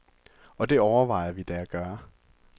Og det overvejer vi da at gøre.